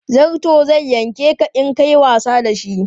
Zarto zai yanke ka in ka yi wasa da shi.